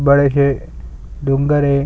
बड़े से डोंगर है।